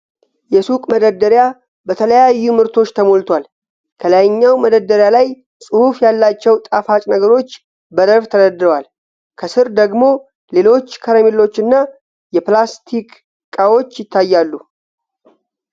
የሱቅ መደርደሪያ በተለያዩ ምርቶች ተሞልቷል:: ከላይኛው መደርደሪያ ላይ ጽሑፍ ያላቸው ጣፋጭ ነገሮች በረድፍ ተደርድረዋል:: ከሥር ደግሞ ሌሎች ከረሜላዎችና ፕላስቲክ እቃዎች ይታያሉ::